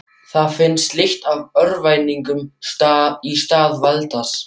Það fannst lykt af örvæntingu í stað valds.